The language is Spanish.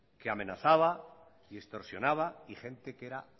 que amenazaba y extorsionaba y gente que era